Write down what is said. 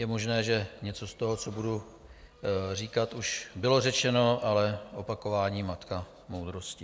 Je možné, že něco z toho, co budu říkat, už bylo řečeno, ale opakování - matka moudrosti.